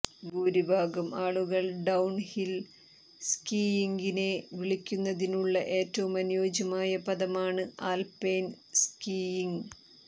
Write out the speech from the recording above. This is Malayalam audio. ഭൂരിഭാഗം ആളുകൾ ഡൌൺഹിൽ സ്കീയിംഗിനെ വിളിക്കുന്നതിനുള്ള ഏറ്റവും അനുയോജ്യമായ പദമാണ് ആൽപൈൻ സ്കീയിംഗ്